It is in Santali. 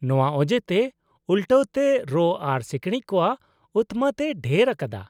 ᱱᱚᱶᱟ ᱚᱡᱮᱛᱮ ᱩᱞᱴᱟᱹᱣ ᱛᱮ ᱨᱚᱸ ᱟᱨ ᱥᱤᱠᱬᱤᱠ ᱠᱚᱣᱟᱜ ᱩᱛᱢᱟᱛ ᱮ ᱰᱷᱮᱨ ᱟᱠᱟᱫᱟ ᱾